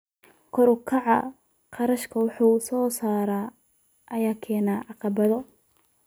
Kor u kaca kharashka wax soo saarka ayaa keenaya caqabado.